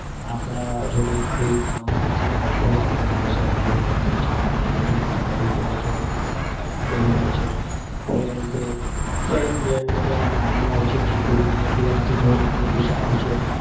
આપડા જોડે કોઈ કામમાં નથી આવતું આગળ જતા. સમય બઉ ખરાબ છે આપડે જ બધું કામ કરવું પડે છે. બરોબર છે? friend બ્રેન્ડ બધા નામ ના હોય છે. જેટલું બનીએ એટલું દુર રહીએ એટલુ સારું છે.